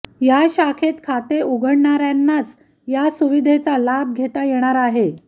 या शाखेत खाते उघडणाऱ्यांनाच या सुविधेचा लाभ घेता येणार आहे